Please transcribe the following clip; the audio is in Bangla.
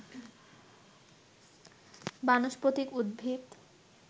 বানস্পতিক উদ্ভিদ